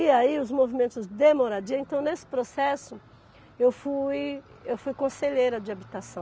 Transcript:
E aí os movimentos de moradia... Então, nesse processo, eu fui eu fui conselheira de habitação.